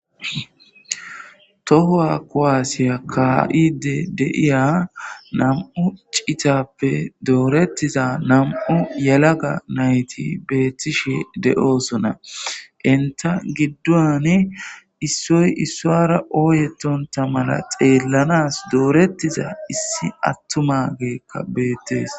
Tohowa kowaasiya ka,ide deiya nam,u citappe doorettiza nam,u yalaga nayti beettishe de,oosona inta giddoni issoy issoara ooyetonta mala xeellanas doorettiza issi attuma geekka beettees.